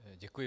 Děkuji.